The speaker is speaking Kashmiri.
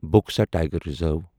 Buxa tiger reserve